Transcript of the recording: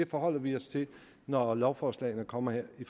forholder vi os til når lovforslagene kommer her i